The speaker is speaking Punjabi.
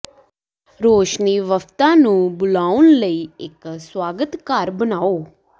ਰੋਸ਼ਨੀ ਵਫਦਾਂ ਨੂੰ ਬੁਲਾਉਣ ਲਈ ਇੱਕ ਸਵਾਗਤ ਘਰ ਬਣਾਓ